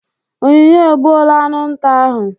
Onyinye egbuola aṅụ nta ahụ.